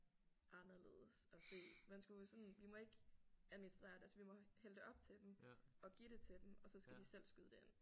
Anderledes at se man skulle sådan vi må ikke administrere det altså vi må hælde det op til dem og give det til dem og så skal de selv skyde det ind